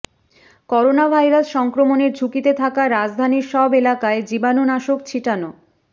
coronavirus সংক্রমণের ঝুঁকিতে থাকা রাজধানীর সব এলাকায় জীবাণুনাশক ছিটানো